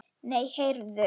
Nei, heyrðu.